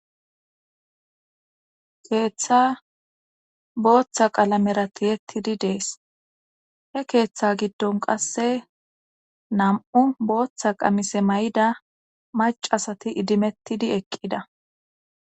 keeththa booththa qalamera tiyettidi dees he keeththa giddon qasse nam7u booththa qamise may7ida mac asati idimettidi eqqida